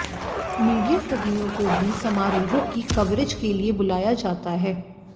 media कर्मियों को भी समारोहों की कवरेज के लिए बुलाया जाता है